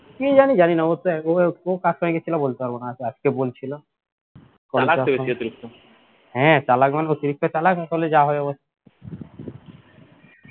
কি জানি জানি না অবস্থা ও কার সঙ্গে গেছিলে বলতে পারব না আজকে বলছিলো হ্যাঁ চালাক মানে অতিরিক্ত চালাক আসলে যা হয় অবস্থা